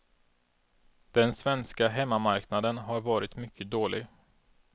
Den svenska hemmamarknaden har varit mycket dålig.